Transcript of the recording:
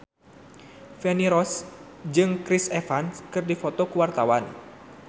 Feni Rose jeung Chris Evans keur dipoto ku wartawan